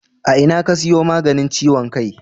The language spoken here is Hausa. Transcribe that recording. A ina ka siyo maganin ciwon kai?